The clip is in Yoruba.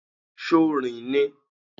Ṣo rìn ni?